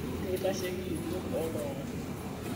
Keitasheki yieunot oo ltung'ana